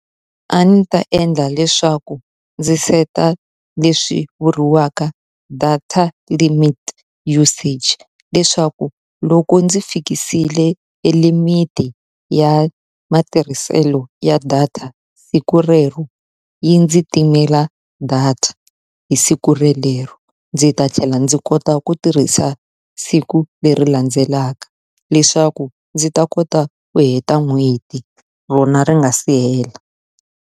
A ndzi ta endla leswaku ndzi set-a leswi vuriwaka data limit usage, leswaku loko ndzi fikisile e limit-i ya matirhiselo ya data siku rero yi ndzi timela data hi siku relero. Ndzi ta tlhela ndzi kota ku tirhisa siku leri landzelaka, leswaku ndzi ta kota ku heta n'hweti rona ri nga si hela.